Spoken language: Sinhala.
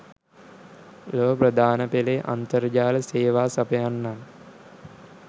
ලොව ප්‍රධානපෙලේ අන්තර්ජාල සේවා සපයන්නන්